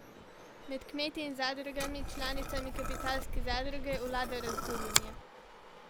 Med kmeti in zadrugami, članicami Kapitalske zadruge, vlada razburjenje.